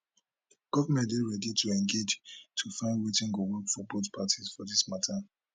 govment dey ready to engage to find wetin go work for both parties for dis mata